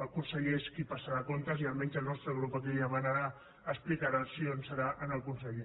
el conseller és qui passarà comptes i almenys el nostre grup a qui li demanarà explicaci·ons serà al conseller